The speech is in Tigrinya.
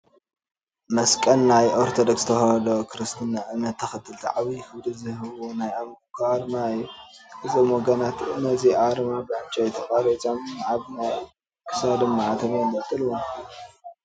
መስቀል ናይ ኦርቶዶክስ ተዋህዶ ክርስትና እምነት ተኸተልቲ ዓብዪ ክብሪ ዝህብዎ ናይ ኣምልኮ ኣርማ እዩ፡፡ እዞም ወገናት ነዚ ኣርማ ብዕንጨይቲ ቀሪፆም ኣብ ናይ ክሳዶም ማዕተብ የንጠልጥልዎ፡፡